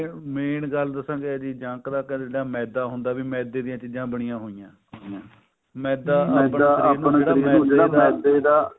main ਗੱਲ ਦਸਾਂ ਕੀ ਹੈ ਜੀ junk ਚ ਕੱਲਾ ਮੈਦਾ ਹੁੰਦਾ ਵੀ ਮੈਦੇ ਦੀਆਂ ਚੀਜ਼ਾਂ ਬਣੀਆ ਹੋਈਆਂ ਮੈਦਾ ਆਪਣੇ ਸ਼ਰੀਰ ਨੂੰ ਜਿਹੜਾ ਮੈਦਾ ਦਾ